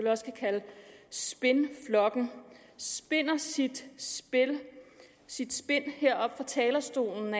spindflokken spinder sit spind sit spind heroppe fra talerstolen